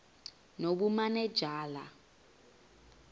nobumanejala